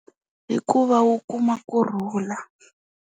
Hikuva u kuma kurhula.